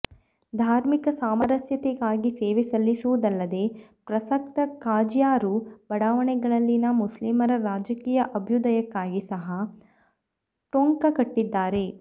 ಧಾರ್ಮಿಕ ಸಾಮರಸ್ಯತೆಗಾಗಿ ಸೇವೆ ಸಲ್ಲಿಸುವುದಲ್ಲದೇ ಪ್ರಸಕ್ತ ಖಾಜಿಯಾರ್ರು ಬಡಾವಣೆಗಳಲ್ಲಿನ ಮುಸ್ಲಿಮರ ರಾಜಕೀಯ ಅಭ್ಯುದಯಕ್ಕಾಗಿ ಸಹಾ ಟೊಂಕಕಟ್ಟಿದ್ದಾರೆ